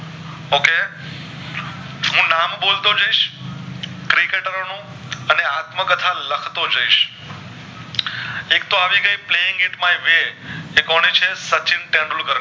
એક તો આવી ગય playing it my way ઈકોની છે સચિન તેંદુલ કર ની